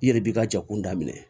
I yɛrɛ b'i ka jɛkulu daminɛ